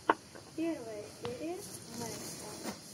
первая серия мэтта